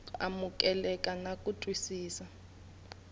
ku amukeleka na ku twisisa